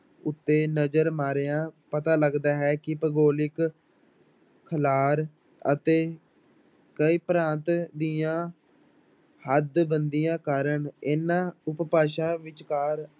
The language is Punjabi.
ਉੱਤੇ ਨਜ਼ਰ ਮਾਰਿਆਂ ਪਤਾ ਲੱਗਦਾ ਹੈ ਕਿ ਭੁਗੋਲਿਕ ਖਿਲਾਰ ਅਤੇ ਕਈ ਭਾਂਤ ਦੀਆਂ ਹੱਡਬੰਦੀਆਂ ਕਰਨ ਇਹਨਾਂ ਉਪਭਾਸ਼ਾ ਵਿਚਕਾਰ